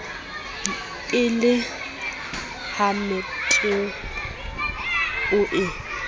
e le hamethepa o e